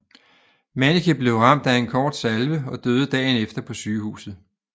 Manniche blev ramt af en kort salve og døde dagen efter på sygehuset